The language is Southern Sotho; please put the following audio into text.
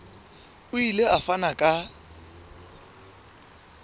o ile a fana ka